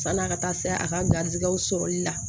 San'a ka taa se a ka garizigɛw sɔrɔli la